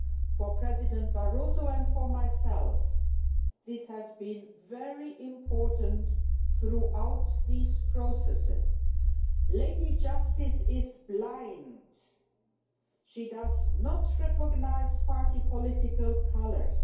For President Barroso and for myself, this has been very important throughout these processes. Lady Justice is blind. She does not recognise party political colours.